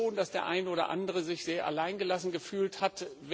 Ich glaube schon, dass der eine oder andere sich sehr alleingelassen gefühlt hat.